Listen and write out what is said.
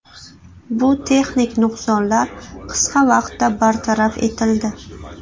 Bu texnik nuqsonlar qisqa vaqtda bartaraf etildi.